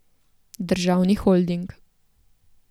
Državni holding.